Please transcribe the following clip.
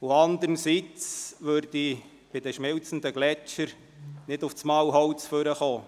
Demgegenüber würde unter den schmelzenden Gletschern nicht auf einmal Holz zum Vorschein kommen.